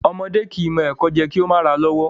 Ọmọdé kìí mọ ẹkò jẹ kí ó mà ràa lọ́wọ́